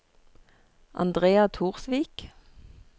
Andrea Torsvik